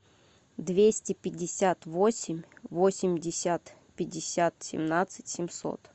двести пятьдесят восемь восемьдесят пятьдесят семнадцать семьсот